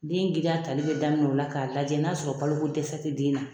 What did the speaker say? Den girinya tali bɛ daminɛ o la k'a lajɛ n'a sɔrɔ baloko dɛsɛ tɛ den na